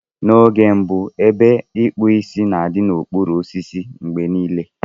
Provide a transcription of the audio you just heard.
N'oge gara aga, ebe ikpu Ịsị na-adị n'okpuru osisi mgbe niile.